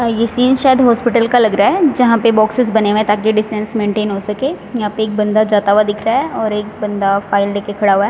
ये सीन शायद हॉस्पिटल का लग रहा है जहां पे बॉक्सेस बने हुए हैं ताकि डिस्टेंस मेंटेन हो सके यहां पे एक बंदा जाता हुआ दिख रहा है और एक बंदा फाइल लेकर खड़ा हुआ है।